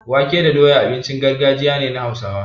Wake da doya abincin gargajiya ne na Hausawa.